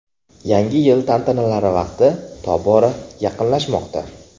Yangi yil tantanalari vaqti tobora yaqinlashmoqda.